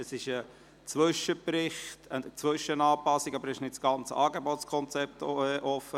Es handelt sich um einen Zwischenbericht, um eine Zwischenanpassung, und es ist nicht das gesamte Angebotskonzept offen.